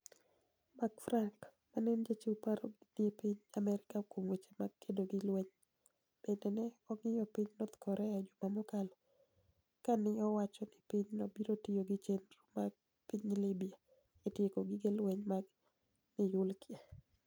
Mark Franik, ma eni jachiw paro ni e piniy Amerka kuom weche mag kedo gi lweniy, benide ni e owanig'o piniy north Korea e juma mokalo, kani e owacho nii piny no biro tiyo gi cheniro mar piniy Libya e tieko gige lweniy mag niyuklia.